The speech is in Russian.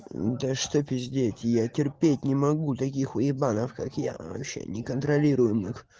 да что пиздеть я терпеть не могу таких уебанов как я вообще не контролируемых